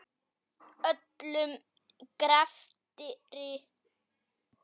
Öllum greftri